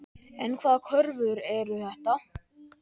En hvaða kröfur eru þetta?